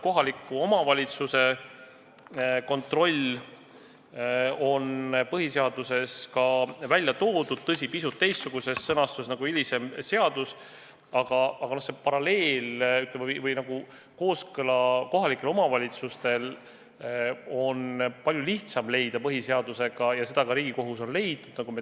Kohaliku omavalitsuse kontroll on põhiseaduses ka välja toodud, tõsi, pisut teistsuguses sõnastuses kui hilisemas seaduses, aga kooskõla põhiseadusega on kohalike omavalitsuste puhul palju lihtsam leida kui mittetulundusühingute, sh erakondade puhul.